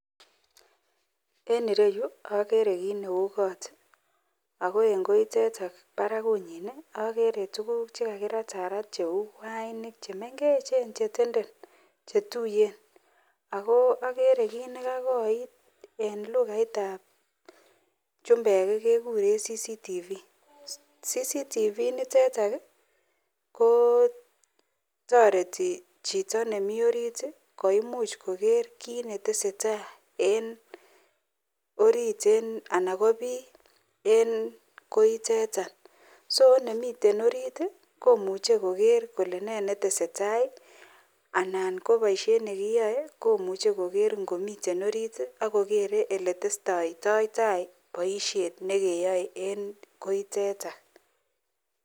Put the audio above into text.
En ireyu agere kit Neu kot ako en koiteton Barak agere tuguk chekakiratarat cheu wainik chemengechen chetenden chetuiyen ako agere kit nekakoit en lugait ab chumbek kekuren cctvako niteton kotareti Chito nemi orit koimuch Koger kit netesetai en orit anan ko bi en koiteton so nemiten orit komuche Koger Kole ne netesetai anan kobaishen nekiyae komuche Koger nimiten orit agogere oletesetaito tai baishet nekeyae en koiteton